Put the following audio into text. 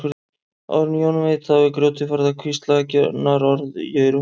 Áður en Jón veit af er grjótið farið að hvísla eggjunarorð í eyru hans.